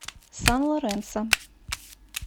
сан лоренсо